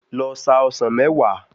Lọ sa ọsàn mẹ́wàá.